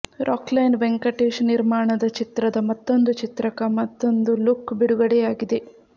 ರಾಕ್ಲೈನ್ ವೆಂಕಟೇಶ್ ನಿರ್ಮಾಣದ ಚಿತ್ರದ ಮತ್ತೊಂದು ಚಿತ್ರದ ಮತ್ತೊಂದು ಲುಕ್ ಬಿಡುಗಡೆಯಾಗಿದೆ